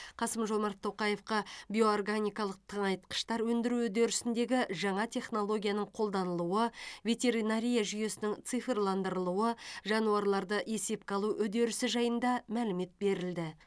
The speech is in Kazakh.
қасым жомарт тоқаевқа биоорганикалық тыңайтқыштар өндіру үдерісіндегі жаңа технологияның қолданылуы ветеринария жүйесінің цифрландырылуы жануарларды есепке алу үдерісі жайында мәлімет берілді